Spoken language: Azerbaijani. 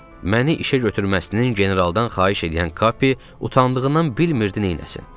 Məni işə götürməsinin generaldan xahiş eləyən Kapi utandığından bilmirdi neyləsin.